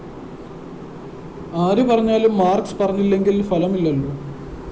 ആരു പറഞ്ഞാലും മാര്‍ക്‌സ് പറഞ്ഞില്ലെങ്കില്‍ ഫലമില്ലല്ലോ